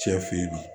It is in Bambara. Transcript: Cɛ fe yen